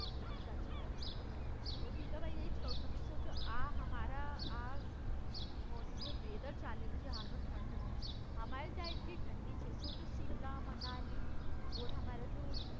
સાચી વાત છે તો ભીખાભાઇ એજ કઉ છું સોચો આ અમારા આ વેધર ચાલી રહ્યું છે હાલનુ ઠંડનું અમારે ત્યાં એટલી ઠંડી છે સોચો સિમલા, મનાલી, ઓઢા માં